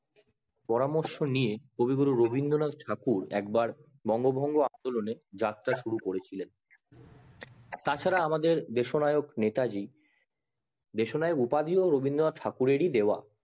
পরামর্শ নিয়ে কবিগুরু রবীন্দ্রনাথ ঠাকুর একবার বঙ্গভঙ্গ আন্দোলনের যাত্রা শুরু করেছিলেন তাছাড়া আমাদের দেশ নায়ক নেতাজি দেশ নায়ক উপাধি ও রবীন্দ্রনাথ ঠাকুর এর ই দেওয়া